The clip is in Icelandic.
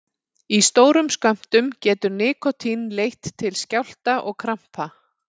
Í stórum skömmtum getur nikótín leitt til skjálfta og krampa.